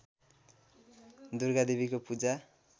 दुर्गा देवीको पूजा